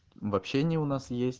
в общении у нас